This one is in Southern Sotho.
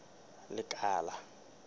lekala